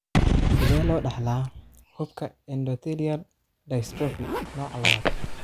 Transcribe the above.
Sidee loo dhaxlaa xuubka endothelial dystropy nooca lawad?